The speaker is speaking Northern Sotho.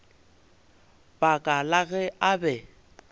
baka la ge a be